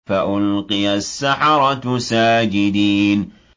فَأُلْقِيَ السَّحَرَةُ سَاجِدِينَ